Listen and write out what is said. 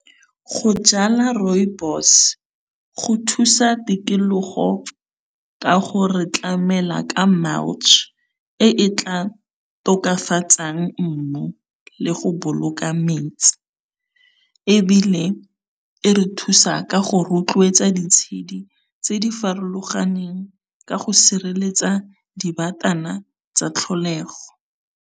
Go jala rooibos go thusa tikologo ka go re tlamela ka e e tla tokafatsang mmu le go boloka metsi, ebile e re thusa ka go rotloetsa di tshedi tse di farologaneng ka go sireletsa dibatana tsa tlholego.